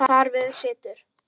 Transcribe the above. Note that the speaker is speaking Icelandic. Þar við situr.